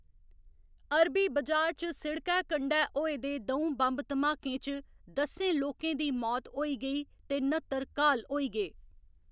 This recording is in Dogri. अरबी बजार च सिड़कै कंढै होए दे द'ऊं बम्ब धमाकें च दस्सें लोकें दी मौत होई गेई ते नत्तर घाल होई गे।